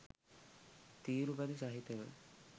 තීරු බදු සහිතව